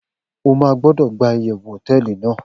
o ma gbodo gba iyewu hoteeli nàá